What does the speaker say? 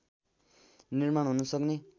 निर्माण हुन सक्ने